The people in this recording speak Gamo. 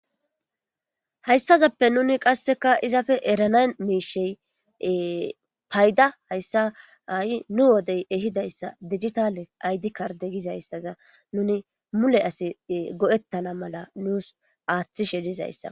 Hayssazappe nuni qasseka izafe erana miishey payda hayssa ai nu wodey ehidayssa digitale aydi karde gizayssaza nuni mule asi go7ettana mala nuus aaththishe dizayssa.